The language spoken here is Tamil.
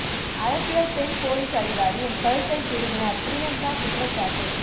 அரசியல் பெண் போலீஸ் அதிகாரி என் கழுத்தை திருகினார் பிரியங்கா குற்றச்சாட்டு